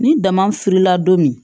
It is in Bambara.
Ni dama furula don min